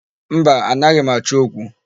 Mba, anaghị m achọ okwu.